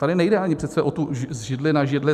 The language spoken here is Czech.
Tady nejde ani přece o to z židle na židli.